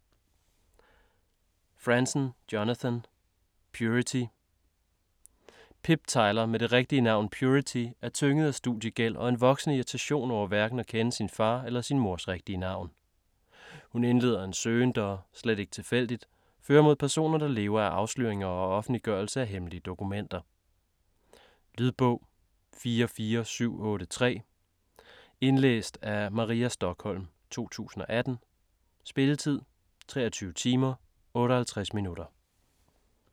Franzen, Jonathan: Purity Pip Tyler med det rigtige navn Purity er tynget af studiegæld og en voksende irritation over hverken at kende sin far eller sin mors rigtige navn. Hun indleder en søgen der - slet ikke tilfældigt - fører mod personer der lever af afsløringer og offentliggørelse af hemmelige dokumenter. Lydbog 44783 Indlæst af Maria Stokholm, 2018. Spilletid: 23 timer, 58 minutter.